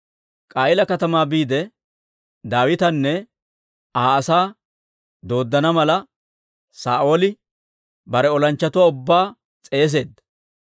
K'a'iila katamaa biide, Daawitanne Aa asaa dooddana mala, Saa'ooli bare olanchchatuwaa ubbaa s'eeseedda.